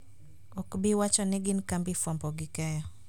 Ok bi wacho ni gin kambi fuambo gi keyo.